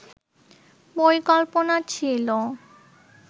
পরিকল্পনা ছিল